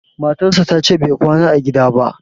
matarsa ta ce Bai kwana a gida ba